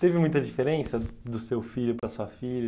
Teve muita diferença do seu filho para sua filha?